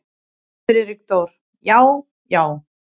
Friðrik Dór: Já. já.